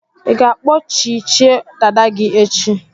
Ị ga-akpọchichie dada gị echi?